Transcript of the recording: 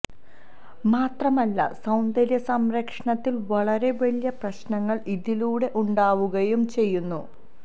മാത്രമല്ല സൌന്ദര്യ സംരക്ഷണത്തില് വളരെ വലിയ പ്രശ്നങ്ങള് ഇതിലൂടെ ഉണ്ടാവുകയും ചെയ്യുന്നു